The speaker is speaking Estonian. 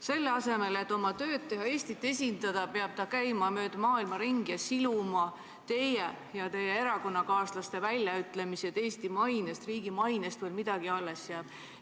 Selle asemel et oma tööd teha, et Eestit esindada, peab ta käima mööda maailma ringi ning siluma teie ja teie erakonnakaaslaste väljaütlemisi, et Eesti riigi mainest veel midagi alles jääks.